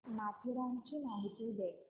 माथेरानची माहिती दे